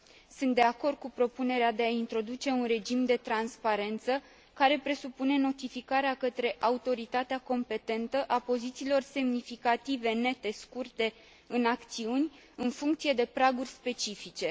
Sunt de acord cu propunerea de a introduce un regim de transparență, care presupune notificarea către autoritatea competentă a pozițiilor semnificative nete scurte în acțiuni, în funcție de praguri specifice.